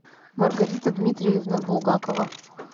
маргарита дмитриевна булгакова